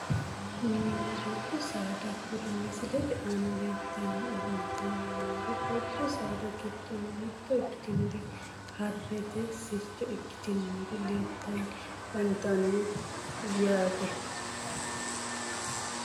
Mininna dubbu saada kuri misilete aana leeltanni afantanni noori dubbu saada giddonni mitto ikkitinori harrete sircho ikkitinori leeltanni afantanno yaate